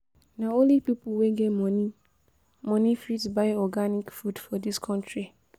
Na only pipo wey get moni moni fit buy organic food for dis country.